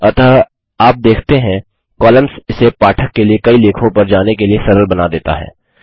अतः आप देखते हैं कॉलम्स इसे पाठक के लिए कई लेखों पर जाने के लिए सरल बना देता है